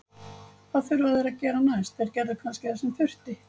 Hvað þurfa þeir að gera næst: Þeir gerðu kannski það sem þurfti.